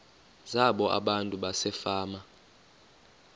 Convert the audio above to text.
zabo abantu basefama